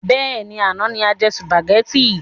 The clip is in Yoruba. Bẹ́ẹ̀ni, àná ni a jẹ sùpàgétì.